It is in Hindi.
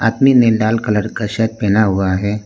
ने लाल कलर का शर्ट पहना हुआ है।